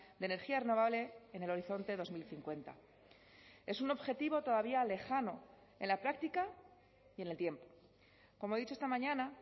de energía renovable en el horizonte dos mil cincuenta es un objetivo todavía lejano en la práctica y en el tiempo como he dicho esta mañana